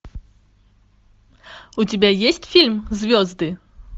у тебя есть фильм звезды